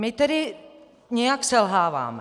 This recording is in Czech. My tedy nějak selháváme.